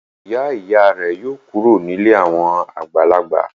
Ìyá-ìyá rẹ̀ yóò kúrò nílé àwọn àgbàlagbà.